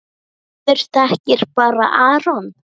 Maður þekkir bara Aron.